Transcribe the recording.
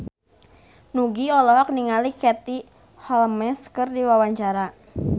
Nugie olohok ningali Katie Holmes keur diwawancara